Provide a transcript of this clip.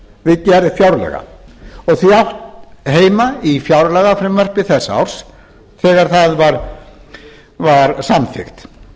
við gerð fjárlaga og því átt heima í fjárlagafrumvarpi þess árs þegar það var samþykkt